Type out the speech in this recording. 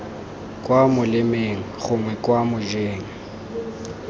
kwa molemeng gongwe kwa mojeng